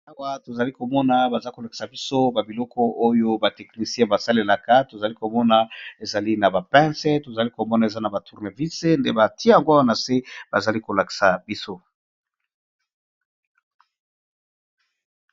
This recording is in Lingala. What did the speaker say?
Awa tozali komona bazali ko lakisa biso ba biloko oyo ba technicien ba salelaka tozali komona ezali na ba pince, tozali komona eza na ba tournevice, nde batie yango awa na se bazali ko lakisa biso.